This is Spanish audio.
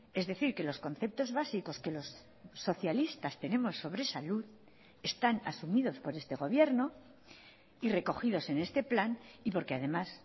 es decir que los conceptos básicos que los socialistas tenemos sobre salud están asumidos por este gobierno y recogidos en este plan y porque además